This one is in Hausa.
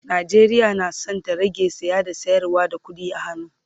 Najeriya na San ta rage saye da sayarwa da ƙuɗi a hannu